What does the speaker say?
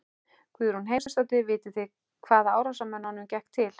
Guðrún Heimisdóttir: Vitið þið hvaða árásarmönnunum gekk til?